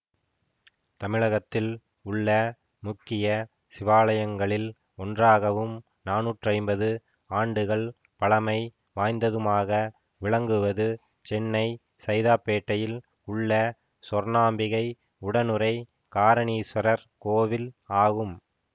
தமிழகத்தில் உள்ள முக்கிய சிவாலயங்களில் ஒன்றாகவும் நானூற்றி ஐம்பது ஆண்டுகள் பழமை வாய்ந்ததுமாக விளங்குவது சென்னை சைதாப்பேட்டையில் உள்ள சொர்ணாம்பிகை உடனுறை காரணீஸ்வரர் கோவில் ஆகும்